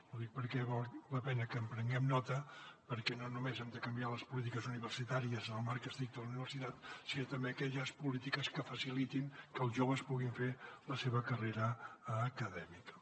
ho dic perquè val la pena que en prenguem nota perquè no només hem de canviar les polítiques universitàries en el marc estricte de la universitat sinó també aquelles polítiques que facilitin que els joves puguin fer la seva carrera acadèmica